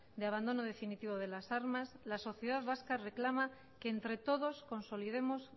de abandono definitivo de las armas la sociedad vasca reclama que entre todos consolidemos